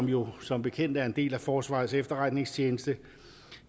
jo som bekendt er en del af forsvarets efterretningstjeneste